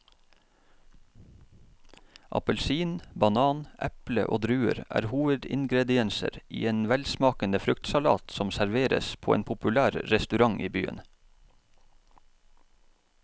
Appelsin, banan, eple og druer er hovedingredienser i en velsmakende fruktsalat som serveres på en populær restaurant i byen.